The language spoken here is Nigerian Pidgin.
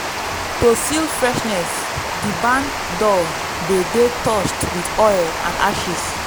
to seal freshness di barn door dey dey touched with oil and ashes.